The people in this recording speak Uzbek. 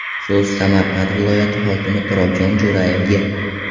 So‘z Samarqand viloyati hokimi Turobjon Jo‘rayevga.